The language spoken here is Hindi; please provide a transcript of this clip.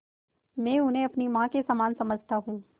मैं उन्हें अपनी माँ के समान समझता हूँ